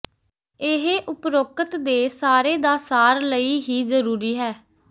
ਇਹ ਉਪਰੋਕਤ ਦੇ ਸਾਰੇ ਦਾ ਸਾਰ ਲਈ ਹੀ ਜ਼ਰੂਰੀ ਹੈ